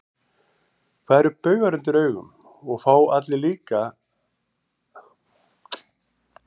Hvað eru baugar undir augum, og fá allir þá, líka blindir?